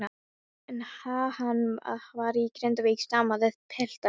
En ha-hann á að vera í Grindavík, stamaði pilturinn.